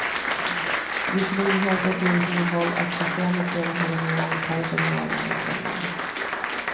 Visserligen hävdas nu på sina håll att systemet redan håller nere antalet ordinarie anställningar.